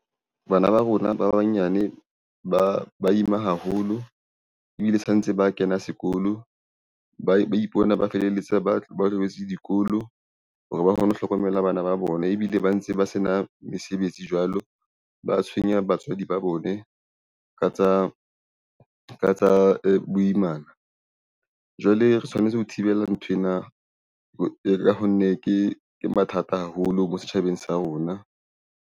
Bana ba rona ba banyane ba ima haholo ebile sa ntse ba kena sekolo, ba ipona ba feleletsa ba tlohetse dikolo hore ba kgone ho hlokomela bana ba bona ebile ba ntse ba sena mesebetsi jwalo. Ba tshwenya batswadi ba bone ka tsa boimana. Jwale re tshwanetse ho thibela nthwena [um [ ka ho nne ke mathata haholo mo setjhabeng sa rona.